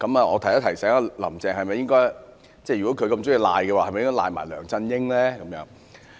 我想提醒"林鄭"，如果她這麼喜歡諉過於人，是否也應諉過梁振英呢？